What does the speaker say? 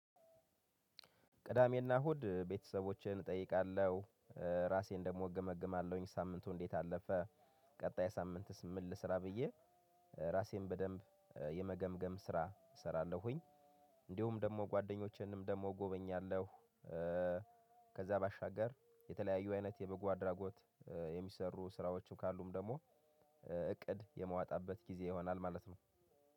ቅዳሜና እሁድ ቤተሰቦቼን እጠይቃለሁ። ራሴን ደግሞ እገመግማለሁኝ። ሳምንቱ እንዴት አለፈ ቀጣይ ሳምንትስ ምል ስራ ብዬ ራሴን በደንብ የመገምገም ስራ እሰራለሁኝ። እንዲሁም ደግሞ ጓደኞቼንም ደግሞ እጎበኛለሁ ከዛ ባሻገር የተለያዩ አይነት የበጎ አድራጎት የሚሰሩ ስራዎችም ካሉም ደግሞ እቅድ የማወጣበት ጊዜ ይሆናል ማለት ነው።